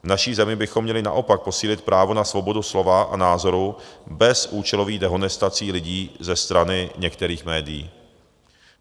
V naší zemi bychom měli naopak posílit právo na svobodu slova a názorů bez účelových dehonestací lidí ze strany některých médií.